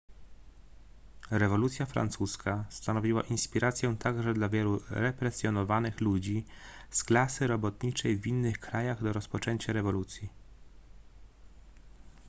rewolucja francuska stanowiła inspirację także dla wielu represjonowanych ludzi z klasy robotniczej w innych krajach do rozpoczęcia rewolucji